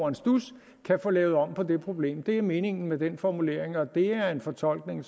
en studs få lavet om på det problem det er meningen med den formulering og det er en fortolkning